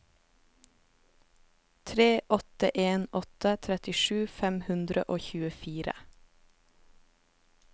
tre åtte en åtte trettisju fem hundre og tjuefire